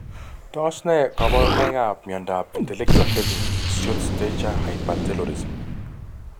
Tos ne kaborunoikab miondop intellectual deficit short stature hypertelorism?